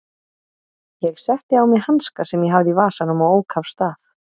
Ég setti á mig hanska sem ég hafði í vasanum og ók af stað.